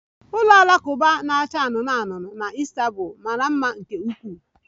Ụlọ alakụba na-acha anụnụ anụnụ na Istanbul mara mma nke ukwuu